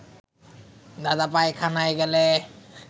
দাদা পায়খানায় গেলে